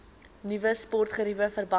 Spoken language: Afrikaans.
nuwe sportgeriewe verband